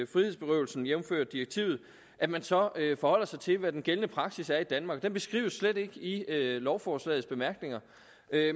frihedsberøvelsen jævnfør direktivet at man så forholder sig til hvad den gældende praksis er i danmark den beskrives slet ikke i lovforslagets bemærkninger